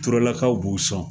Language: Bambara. Turelakaw b'u sɔn